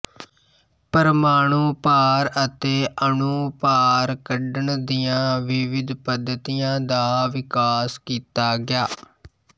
ਪਰਮਾਣੂ ਭਾਰ ਅਤੇ ਅਣੂ ਭਾਰ ਕੱਢਣ ਦੀਆਂ ਵਿਵਿਧ ਪੱਧਤੀਆਂ ਦਾ ਵਿਕਾਸ ਕੀਤਾ ਗਿਆ